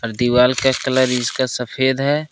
दीवाल का कलर इसका सफेद है।